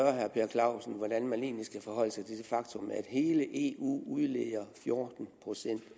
clausen hvordan man egentlig skal forholde sig til det faktum at hele eu udleder fjorten procent